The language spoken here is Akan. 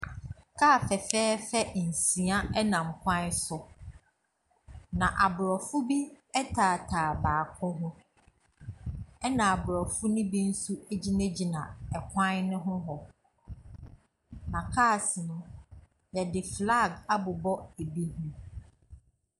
Kaa fɛfɛɛfɛ nsia nam kwan so, na aborɔfo bi taataa baako ho, ɛnna aborɔfo no bi nso gyinagyina kwan no ho hɔ, na cars no, wɔde flag abobɔ ebi ho.